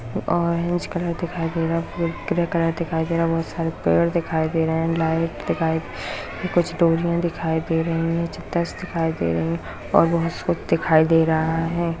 Orange colour दिखाई दे रहा है ग्रे कलर दिखाई दे रहा है बहुत सारे पेड़ दिखाई दे रहे है लाइट दिखाई कुछ डोरियां दिखाई दे रही हैं दिखाई दे रही हैं और बहुत कुछ दिखाई दे रहा है।